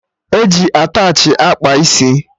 E ji attachị akpa isi